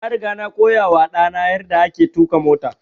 Na riga na koya wa ɗa na yarda ake tuƙa mota